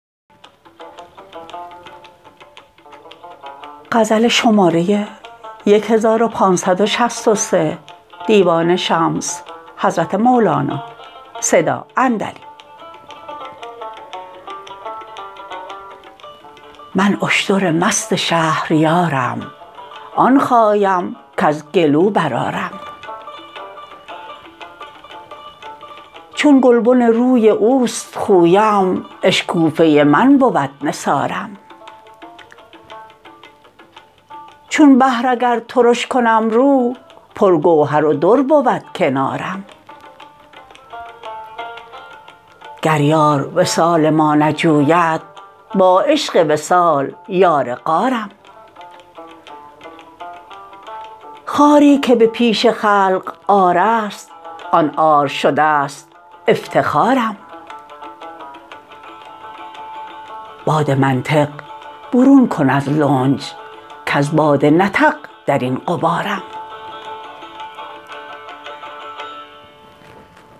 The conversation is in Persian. من اشتر مست شهریارم آن خایم کز گلو برآرم چون گلبن روی اوست خویم اشکوفه من بود نثارم چون بحر اگر ترش کنم رو پرگوهر و در بود کنارم گر یار وصال ما نجوید با عشق وصال یار غارم خواری که به پیش خلق عار است آن عار شده ست افتخارم باد منطق برون کن از لنج کز باد نطق در این غبارم